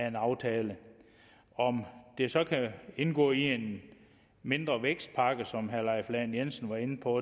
en aftale om det så kan indgå i en mindre vækstpakke som herre leif lahn jensen var inde på